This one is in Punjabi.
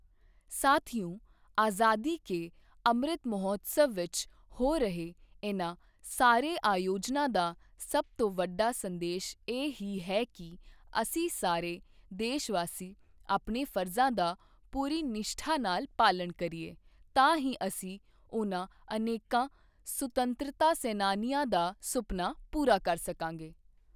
ਸਾਥੀਓ, ਆਜ਼ਾਦੀ ਕੇ ਅੰਮ੍ਰਿਤ ਮਹੋਤਸਵ ਵਿੱਚ ਹੋ ਰਹੇ ਇਨ੍ਹਾਂ ਸਾਰੇ ਆਯੋਜਨਾਂ ਦਾ ਸਭ ਤੋਂ ਵੱਡਾ ਸੰਦੇਸ਼ ਇਹ ਹੀ ਹੈ ਕਿ ਅਸੀਂ ਸਾਰੇ ਦੇਸ਼ਵਾਸੀ ਆਪਣੇ ਫ਼ਰਜ਼ਾਂ ਦਾ ਪੂਰੀ ਨਿਸ਼ਠਾ ਨਾਲ ਪਾਲਣ ਕਰੀਏ ਤਾਂ ਹੀ ਅਸੀਂ ਉਨ੍ਹਾਂ ਅਨੇਕਾਂ ਸੁਤੰਤਰਤਾ ਸੈਨਾਨੀਆਂ ਦਾ ਸੁਪਨਾ ਪੂਰਾ ਕਰ ਸਕਾਂਗੇ।